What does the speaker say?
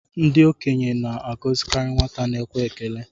Ndị okenye na-agọzikarị nwata na-ekwe ekele